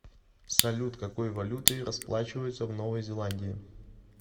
салют какой валютой расплачиваются в новой зеландии